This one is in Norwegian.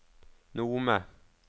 Nome